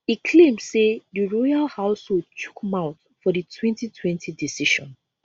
e claim say di royal household chook mouth for di 2020 decision